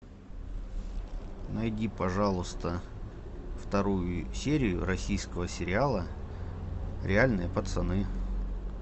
найди пожалуйста вторую серию российского сериала реальные пацаны